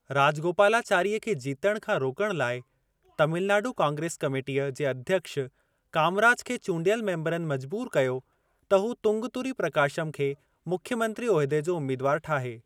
राजगोपालाचारीअ खे जीतण खां रोकण लाइ, तमिलनाडु कांग्रेस कमेटीअ जे अध्यक्ष कामराज खे चूंडियल मेंबरनि मजबूर कयो त हू तंगुतुरी प्रकाशम खे मुख्यमंत्री उहिदे जो उम्मीदवार ठाहे।